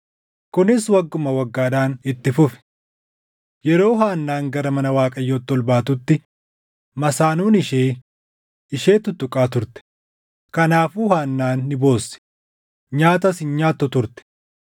Kunis wagguma waggaadhaan itti fufe. Yeroo Haannaan gara mana Waaqayyootti ol baatutti masaanuun ishee, ishee tuttuqaa turte; kanaafuu Haannaan ni boossi, nyaatas hin nyaattu turte.